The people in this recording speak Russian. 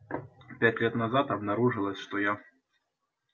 пять лет назад обнаружилось что я